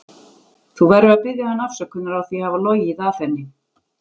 Þú verður að biðja hana afsökunar á því að hafa logið að henni.